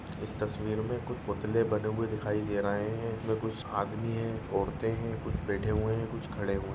इस तस्वीर में कुछ पुतले बने हुए दिखाई दे रहे हैं। इसमें कुछ आदमी हैं औरतें हैं कुछ बैठे हुए हैं कुछ खड़े हुए हैं।